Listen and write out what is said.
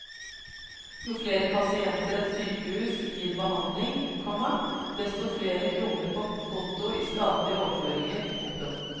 Jo flere pasienter et sykehus gir behandling, komma desto flere kroner på konto i statlige overføringer. punktum